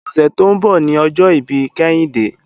Òsè tó n bò ni òjò ibi Kehinde